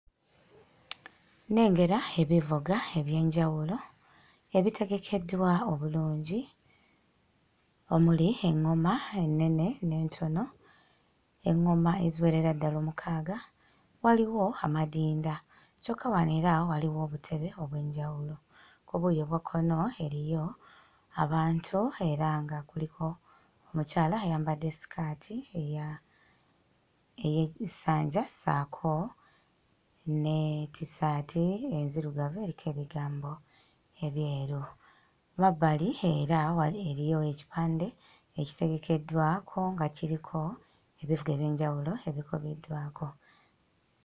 Nnengera ebivuga eby'enjawulo ebitegekeddwa obulungi omuli eŋŋoma ennene n'entono eŋŋoma eziwerera ddala omukaaga, waliwo amadinda kyokka wano era waliwo obutebe obw'enjawulo. Ku buuyi obwa kkono eriyo abantu era nga kuliko mukyala ayambadde sikaati eya ey'e essanja ssaako ne tissaati enzirugavu eriko ebigambo ebyeru. Mabbali era wali eriyo ekipande ekitegekeddwa kwo nga kuliko ebivuga eby'enjawulo ebikoleddwako.